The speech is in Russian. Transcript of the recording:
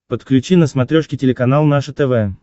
подключи на смотрешке телеканал наше тв